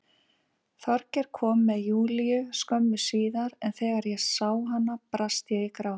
Þorgeir kom með Júlíu skömmu síðar en þegar ég sá hana brast ég í grát.